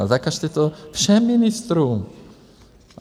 A zakažte to všem ministrům.